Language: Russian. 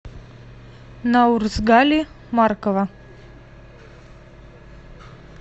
наурзгали маркова